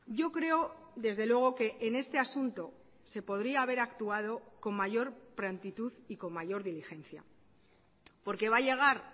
yo creo desde luego que en este asunto se podría haber actuado con mayor prontitud y con mayor diligencia porque va a llegar